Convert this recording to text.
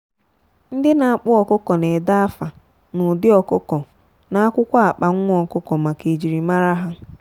ndị na akpu ọkụkọ na ede afa na ụdị ọkụkọ na akwụkwọ akpa nwa ọkụkọ maka ejirimara ha.